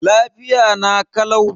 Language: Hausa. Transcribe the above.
Lafiya na kalau.